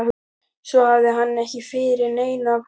Svo hafði hann ekki yfir neinu að kvarta.